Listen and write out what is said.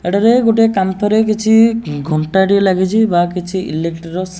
ଏଠାରେ ଗୋଟେ କାନ୍ଥ ରେ କିଛି ଘଣ୍ଟା ଟିଏ ଲାଗିଛି ବା କିଛି ଇଲେକ୍ଟ୍ରି ର ସା --